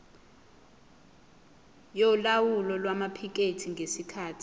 yolawulo lwamaphikethi ngesikhathi